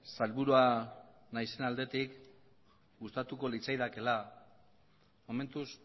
sailburua naizen aldetik gustatuko litzaidakeela momentuz